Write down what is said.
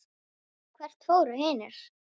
og hvert fóru hinir?